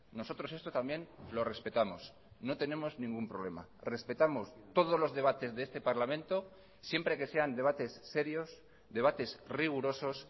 nosotros esto también lo respetamos no tenemos ningún problema respetamos todos los debates de este parlamento siempre que sean debates serios debates rigurosos